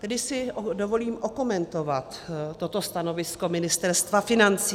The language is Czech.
Tady si dovolím okomentovat toto stanovisko Ministerstva financí.